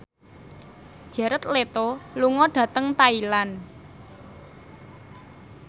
Jared Leto lunga dhateng Thailand